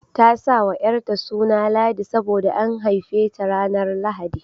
Ta sa wa ƴarta suna Ladi sabo da an haife ta ranar Lahadi.